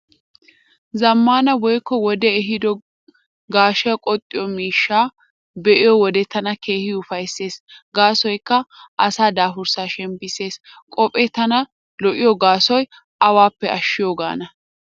Zammaana woykko wodee ehiido gaashiyaa qoxxiyo miishshaa be'iyo wode tana keehi ufayssees gaasoykka asaa daafuraa shemppissees. Qophee tana lo'iyo gaasoy awaappe ashshiyoogaana.